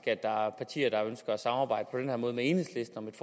at der er partier der ønsker at samarbejde på den måde med enhedslisten om et